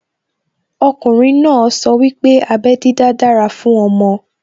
Okùnrin náà sọ wípé abẹ́ dídá dára fún ọmọ